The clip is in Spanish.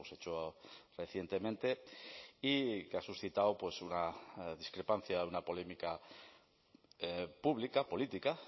echó recientemente y que ha suscitado una discrepancia una polémica pública política